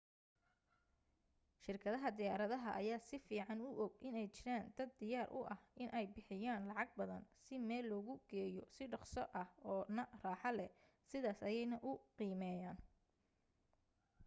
shirkadaha diyaarada ayaa si fiican u og inay jiraan dad diyaar u ah inay bixiyaan lacag badan si meel logu geeyo si dhaqso ah oo na raaxo leh sidaas ayeena u qiimeyaan